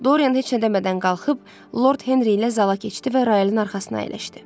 Dorian heç nə demədən qalxıb Lord Henri ilə zala keçdi və royalın arxasına əyləşdi.